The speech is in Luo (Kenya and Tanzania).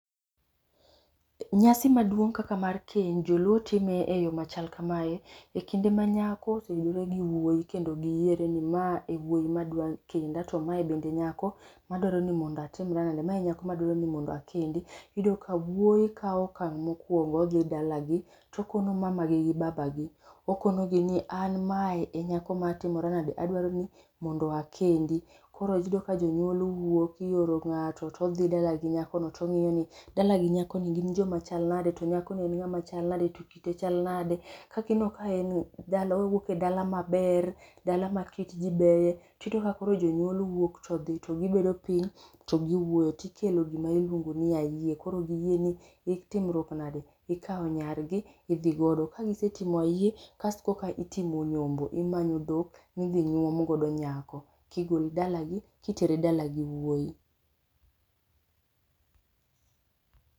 Nyasi maduong' kaka mar keny joluo time e yo machal kamae, e kinde ma nyako oseyudore gi wuoi kendo giyiere ni ma e wuoi ma dwa kenda to mae bende e nyako madwaro ni mondo atimra nade? ma e nyako madwaro ni mondo akendi, iyudo ka wuoi kaw okang' mokuongo odhi dalagi, tokono mamagi gi babagi. okonogi ni an mae e nyako ma atimora nade adwaro ni mondo akendi, koro yudo ka jonyuol wuok ioro ng'ato todhi ng'ato todhi dala gi nyakono tong'iyo ni dalagi nyakoni gin joma chal nade to nyakoni en ng'ama chal nade to kite chal nade. kagineno ka en owuok e dala maber, dala ma kit ji beye tiyudo ka koro jonyuol wuok todhi to gibedo piny to giwuoyo tikelo gima iluongo ni ayie koro giyie ni itimruok nade, ikaw nyargi, idhi godo. ka gisetimo ayie kasto ekoka itimo nyombo, imayo dhok midhi nyuom godo nyako, kigole dalagi kitere dalagi wuoi